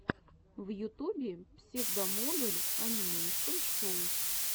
в ютубе псевдомодуль анимэйшен шоу